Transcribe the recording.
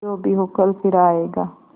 जो भी हो कल फिर आएगा